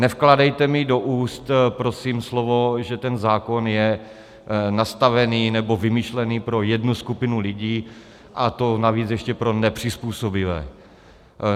Nevkládejte mi do úst prosím slovo, že ten zákon je nastavený nebo vymyšlený pro jednu skupinu lidí, a to navíc ještě pro nepřizpůsobivé.